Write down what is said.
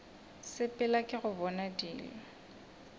sepela ke go bona dilo